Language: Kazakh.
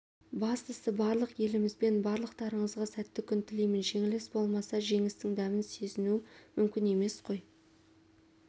бастысы барлық елімізбен барлықтарыңызға сәтті күн тілеймін жеңіліс болмаса жеңістің дәмін сезініу мүмкін емес қой